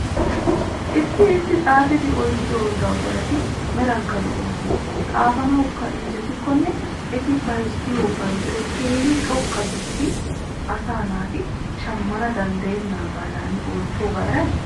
Issi issi xaaffidi oyqqiyo dawttarati meranikka lo'oosona xaaffananawkka injjetikonne eti bayzzettiyo bayzoy keehi xoqa gididoge asa naati shamana danddayenadan ootoga eray?